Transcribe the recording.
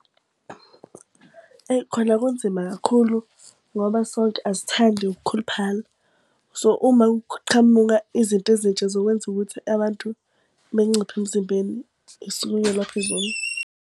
Eyi khona kunzima kakhulu ngoba sonke asithandi ukukhuluphala. So uma kuqhamuka izinto ezintsha zokwenza ukuthi abantu benciphe emzimbeni .